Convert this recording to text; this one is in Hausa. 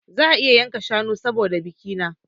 Za a yanka shanu saboda bikina